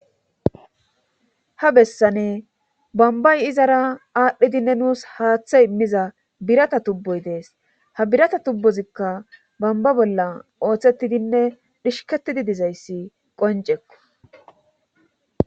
Ha bessani bombbay izara aadhidinne nus haathe immiza birata tubboy de7es; ha birata tubbozikka bombba bolla oosetidinne dhishkettidi dizayssi qoncekko.